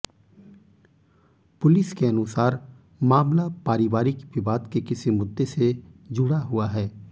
police के अनुसार मामला पारिवारिक विवाद के किसी मुद्दे से जुडा़ हुआ है